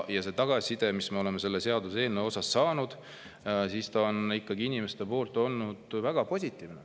Ja tagasiside inimestelt, mis me oleme selle seaduseelnõu puhul saanud, on ikkagi olnud väga positiivne.